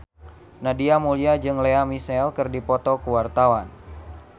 Nadia Mulya jeung Lea Michele keur dipoto ku wartawan